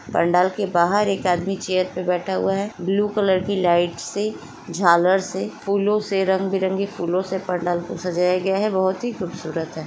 पंडाल के बाहर एक आदमी चेयर पर बैठा हुआ है ब्लू कलर की लाइट से झालर से फूलों से रंग- बिरगे फूलों से पंडाल को सजाया गया है बहुत ही खूबसूरत हैं।